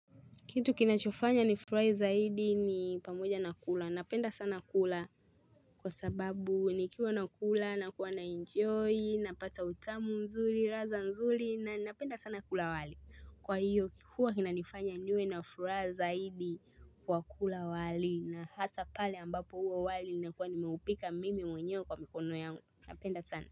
Kitu kinachofanya nifurahi zaidi ni pamoja na kula. Napenda sana kula kwa sababu nikiwa nakula nakuwa naenjoy, napata utamu nzuri, ladha nzuri na napenda sana kula wali. Kwa hiyo huwa inanifanya niwe na furaha zaidi kwa kula wali na hasa pale ambapo huo wali nimekuwa nimeupika mimi mwenyewe kwa mikono yangu. Napenda sana.